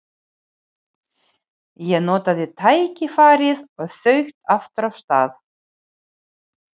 Ég notaði tækifærið og þaut aftur af stað.